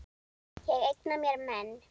Ég eigna mér menn.